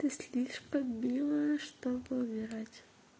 ты слишком милая чтобы умирать